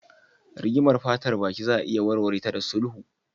Rigimar fatar baki za a iya warware ta da sulhu.